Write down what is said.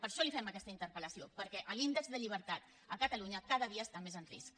per això li fem aquesta interpel·lació perquè l’índex de llibertat a catalunya cada dia està més en risc